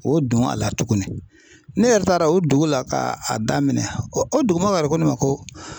O don a la tugunni ne yɛrɛ taara o dugu la ka a daminɛ o o dugu mɔgɔ yɛrɛ ko ne ma ko